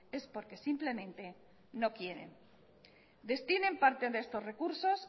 es porque simplemente no quieren destinen parte de estos recursos